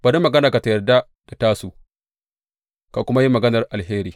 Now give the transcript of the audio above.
Bari maganarka tă yarda da tasu, ka kuma yi maganar alheri.